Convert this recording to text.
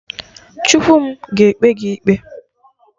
Chukwu m ga-ekpe gị ikpe!